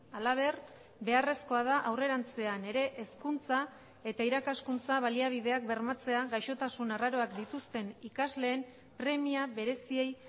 halaber beharrezkoa da aurrerantzean ere hezkuntza eta irakaskuntza baliabideak bermatzea gaixotasun arraroak dituzten ikasleen premia bereziei